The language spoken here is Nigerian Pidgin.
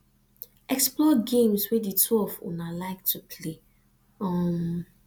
explore games wey di two of una like to play um